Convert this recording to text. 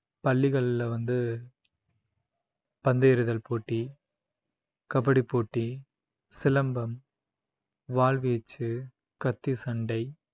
பள்ளிகள்ல வந்து பந்து எறிதல் போட்டி கபடி போட்டி சிலம்பம் வாள்வீச்சு கத்தி சண்டை